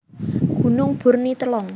Gunung Bur Ni Telong